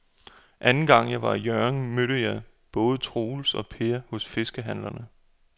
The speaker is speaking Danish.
Anden gang jeg var i Hjørring, mødte jeg både Troels og Per hos fiskehandlerne.